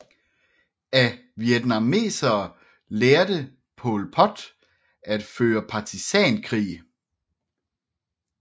Af vietnameserne lærte Pol Pot at føre partisankrig